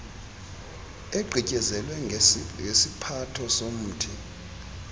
igqityezelwe ngesiphatho somthi